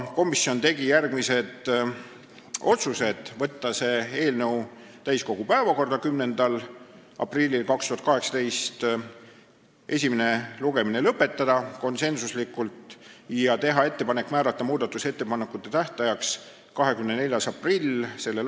Komisjon tegi järgmised otsused: võtta see eelnõu täiskogu päevakorda 10. aprilliks 2018, esimene lugemine lõpetada ja teha ettepanek määrata muudatusettepanekute tähtajaks 24. aprill s.